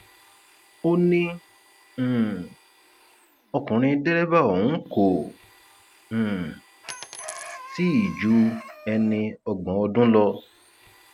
ó ní um ọkùnrin dẹrẹbà ọhún kò um tí ì ju ẹni ọgbọn ọdún lọ